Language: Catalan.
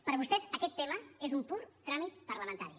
per vostès aquest tema és un pur tràmit parlamentari